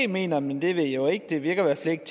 mener men det ved jeg ikke det virker i hvert fald ikke